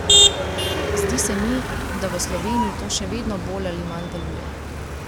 Zdi se mi, da v Sloveniji to še vedno bolj ali manj deluje.